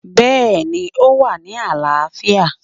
Bẹ́ẹ̀ni o wà ní àlááfíà